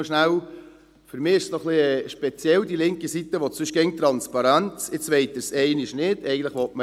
Noch etwas: Es ist etwas speziell, die linke Seite will sonst immer mehr Transparenz, und jetzt wollen sie dies auf einmal nicht mehr.